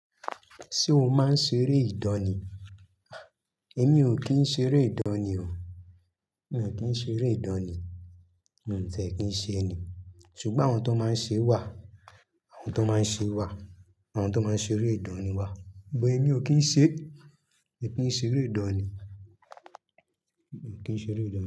Ṣé o máa ń ṣeré ìdánì? Èmi ò kí ń ṣeré ìdánì o. Mi ò kí ń ṣeré ìdánì. Mò n tiẹ́ kí ń ṣe ni. Ṣùgbọ́n àwọn tó máa ń ṣe wà, àwọn tó máa ń ṣe wà, àwọn tó máa ń ṣeré ìdánì wà. Sugbon èmi ò kí ń ṣe, mi ò kí ń ṣeré ìdánì. Mi ò kí ń ṣeré ìdánì.